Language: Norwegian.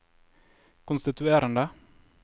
konstituerende